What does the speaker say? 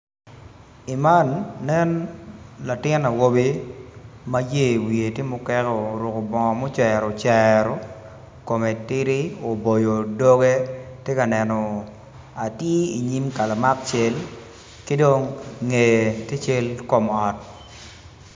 I man nen latin awobi ma yer wiye tye muket oruko bongo mucero cero kome tidi oboyo dogge tye ka neno atir i nyim kalamak cal ki dong ngeye tye cal kom ot